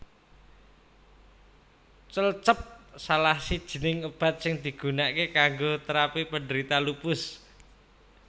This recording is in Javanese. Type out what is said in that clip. Cellcept salah sijining obat sing digunakke kanggo terapi penderita lupus